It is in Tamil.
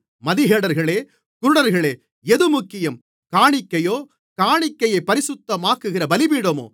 மதிகேடர்களே குருடர்களே எது முக்கியம் காணிக்கையோ காணிக்கையைப் பரிசுத்தமாக்குகிற பலிபீடமோ